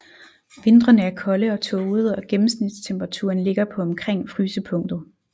Vintrene er kolde og tågede og gennemsnitstemperaturen ligger på omkring frysepunktet